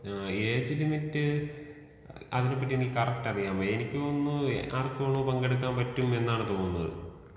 ആ age limit അതിനെപ്പറ്റി എനിക്ക് കറക്റ്റ് അറിയാൻ പാടില്ല. എനിക്കു തോന്നുന്നു ആർക്കുവേണമെങ്കിലും പങ്കെടുക്കാൻ പറ്റുമെന്നാണ് തോന്നുന്നത്.